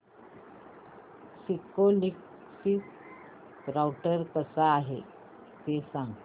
Cisco Linksys router कसा आहे ते सांग